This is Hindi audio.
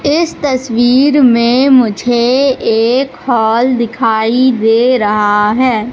इस तस्वीर में मुझे एक हॉल दिखाई दे रहा है।